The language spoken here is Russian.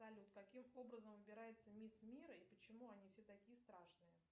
салют каким образом выбирается мисс мира и почему они все такие страшные